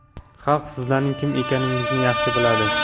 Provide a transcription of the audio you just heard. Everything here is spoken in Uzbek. Xalq sizlarning kim ekaningizni yaxshi biladi.